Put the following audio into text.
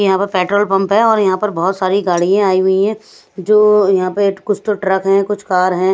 यहां पर petrol pump है और यहां पर बहुत सारी गाड़ियां आई हुई है जो यहां पर कुछ तो ट्रक है कुछ कार है।